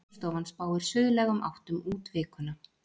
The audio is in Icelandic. Veðurstofan spáir suðlægum áttum út vikuna